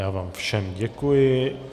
Já vám všem děkuji.